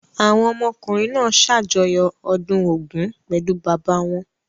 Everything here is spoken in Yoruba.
Àwọn ọmọkùnrin náà ṣàjọyọ̀ ọdún Ògún pẹ̀lú bàbá wọn.